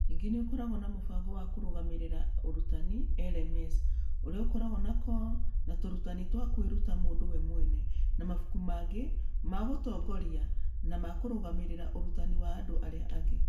Ningĩ nĩ ĩkoragwo na mũbango wa kũrũgamĩrĩra ũrutani (LMS), ũrĩa ũkoragwo na CoL na tũrutani twa kwĩruta mũndũ we mwene, na mabuku mangĩ ma gũtongoria na ma kũrũgamĩrĩra ũrutani wa andũ arĩa angĩ.